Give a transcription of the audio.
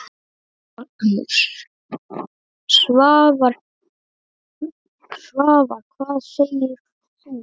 Magnús: Svavar, hvað segir þú?